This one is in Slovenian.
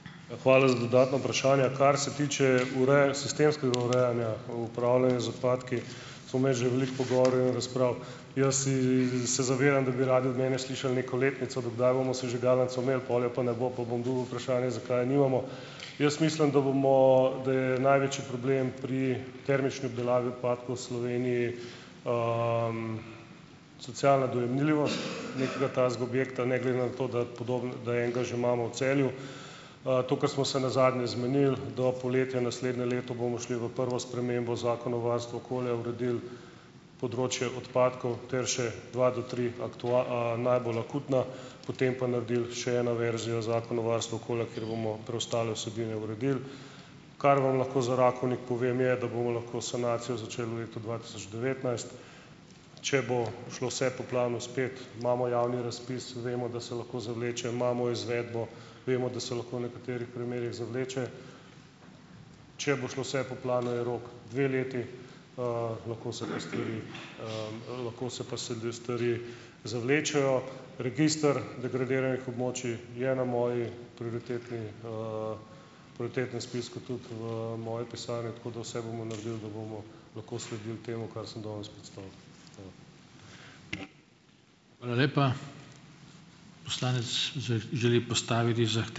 Hvala za dodatna vprašanja. Kar se tiče sistemskega urejanja, upravljanja z odpadki, smo imeli že veliko pogovorov in razprav. Jaz si se zavedam, da bi radi od mene slišali neko letnico, do kdaj bomo sežigalnico imeli, pol je pa ne bo, pa bom dobil vprašanje, zakaj je nimamo. Jaz mislim, da bomo, da je največji problem pri termični obdelavi odpadkov v Sloveniji socialna dojemljivo nekega takega objekta, ne glede na to, da da enega že imamo v Celju. To, kar smo se nazadnje zmenili, do poletja naslednje leto bomo šli v prvo spremembo Zakona o varstvu okolja, uredili področje odpadkov ter še dva do tri najbolj akutna, potem pa naredili še eno verzijo zakona o varstvu okolja, kjer bomo preostale vsebine uredili. Kar vam lahko za Rakovnik povem je, da bomo lahko sanacijo začeli v letu dva tisoč devetnajst. Če bo šlo vse po planu spet, imamo javni razpis, vemo, da se lahko zavleče. Imamo izvedbo, vemo, da se lahko v nekaterih primerih zavleče. Če bo šlo vse po planu, je rok dve leti, lahko se pa stvari, lahko se pa selve stvari zavlečejo. Register degradiranih območij je na moji prioritetni, prioritetnem spisku tudi v, moji pisarni, tako da vse bomo naredili, da bomo lahko sledil temu, kar sem danes predstavil. Hvala.